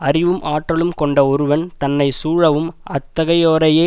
அறிவும் ஆற்றலும் கொண்ட ஒருவன் தன்னை சூழவும் அத்தகையோரையே